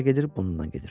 Hara gedir bununla gedir.